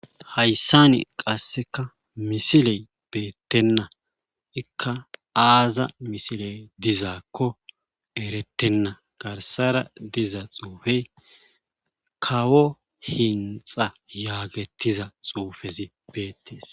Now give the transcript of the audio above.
Hayssani qasseka misiley beettenna iika aaza misiley dizaakko erettenna garssara diza xuufey kawo hinxa yaagetiza xuufezi beettees